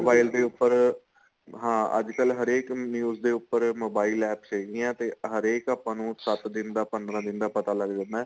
mobile ਦੇ ਉੱਪਰ ਹਾਂ ਅੱਜਕਲ ਹਰੇਕ news ਦੇ ਉੱਪਰ mobile APPS ਹੈਗੀਆਂ ਤੇ ਹਰੇਕ ਆਪਾਂ ਨੂੰ ਸੱਤ ਦਿਨ ਦਾ ਪੰਦਰਾਂ ਦਿਨ ਦਾ ਪਤਾ ਲੱਗ ਜਾਂਦਾ